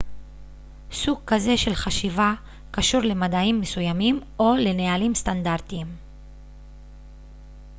סוג כזה של חשיבה קשור למדעים מסוימים או לנהלים סטנדרטיים